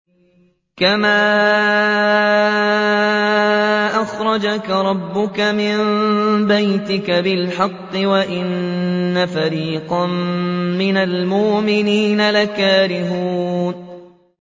كَمَا أَخْرَجَكَ رَبُّكَ مِن بَيْتِكَ بِالْحَقِّ وَإِنَّ فَرِيقًا مِّنَ الْمُؤْمِنِينَ لَكَارِهُونَ